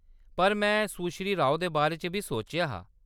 पर में सुश्री राव दे बारे च बी सोचेआ हा।